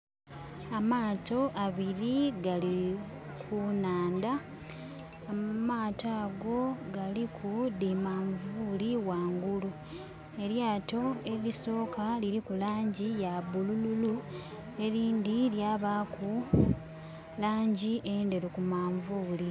Amaato abiri gali ku nhandha. Amaato ago galiku dhi manvuuli ghanghulu. Elyaato elisooka liliku laangi ya bulululu, elindi lyabaaku laangi endheru ku manvuuli.